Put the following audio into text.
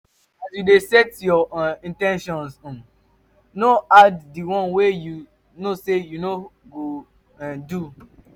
as you de set your um in ten tions um no add di one wey you know say you no go um do